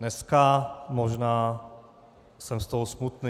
Dneska možná jsem z toho smutný.